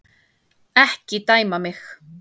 Ekki dæma mig.